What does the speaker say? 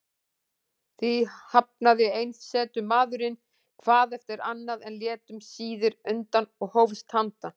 Því hafnaði einsetumaðurinn hvað eftir annað, en lét um síðir undan og hófst handa.